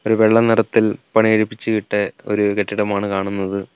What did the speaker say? ഒരു വെള്ള നിറത്തിൽ പണികഴിപ്പിച്ച് ഇട്ട ഒരു കെട്ടിടമാണ് കാണുന്നത്.